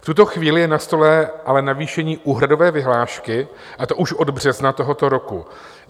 V tuto chvíli je na stole ale navýšení úhradové vyhlášky, a to už od března tohoto roku.